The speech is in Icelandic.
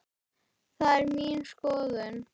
Það er mín skoðun.